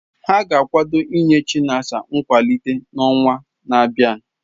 Ha ga-akwado inye Chinasa nkwalite n'ọnwa na-abịa.